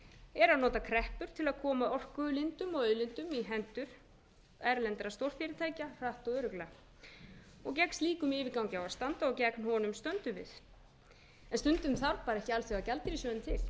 er að nota kreppur til að koma orkulindum og auðlindum í hendur erlendra stórfyrirtækja hratt og örugglega gegn slíkum yfirgangi á að standa og gegn honum stöndum við en stundum þarf ekki alþjóðagjaldeyrissjóðinn til meiri hluti sjálfstæðismanna og framsóknarmanna